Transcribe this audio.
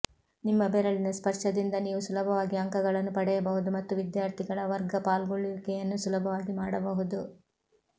ನಿಮ್ಮ ಬೆರಳಿನ ಸ್ಪರ್ಶದಿಂದ ನೀವು ಸುಲಭವಾಗಿ ಅಂಕಗಳನ್ನು ಪಡೆಯಬಹುದು ಮತ್ತು ವಿದ್ಯಾರ್ಥಿಗಳ ವರ್ಗ ಪಾಲ್ಗೊಳ್ಳುವಿಕೆಯನ್ನು ಸುಲಭವಾಗಿ ಮಾಡಬಹುದು